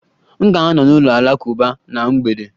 M ga-anọ n'ụlọ alakụba na mgbede